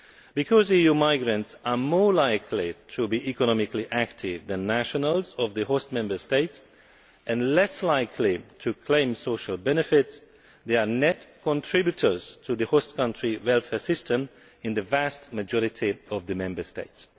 Because EU migrants are more likely to be economically active than nationals of the host Member States and less likely to claim social benefits, they are net contributors to the host country welfare system in the vast majority of the Member States.